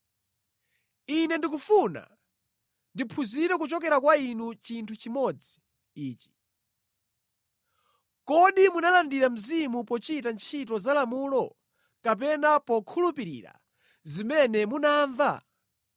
Ine ndikufuna ndiphunzire kuchokera kwa inu chinthu chimodzi ichi: Kodi munalandira Mzimu pochita ntchito za lamulo, kapena pokhulupirira zimene munamva?